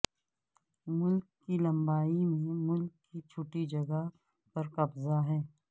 ملک کی لمبائی میں ملک کی چھٹی جگہ پر قبضہ ہے